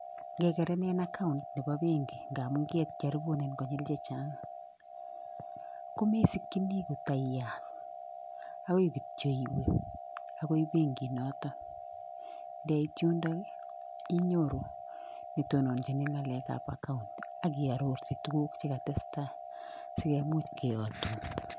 Ngegerenin account nebo benki ngamun kecharibunen konyil chechang, komesikyini kota iyat agoi kityo iwe agoi benkit notok. Ndeit yundok ii, inyoru netononchin ng'alekab account akiarorchi tuguk chekatestai sikemuch keyatun.